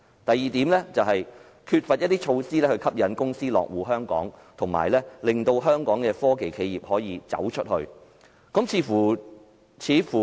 第二，缺乏措施吸引公司落戶香港，並且令香港的科技企業走出去。